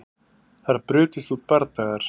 Þar brutust út bardagar